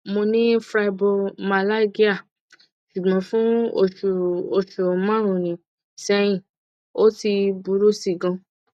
mo ni fibromyalgia ṣugbọn fun oṣu oṣu marunun sẹhin o ti buru si gan